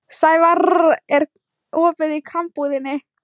Sævarr, er opið í Krambúðinni?